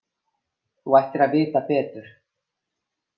Þú ættir að vita betur.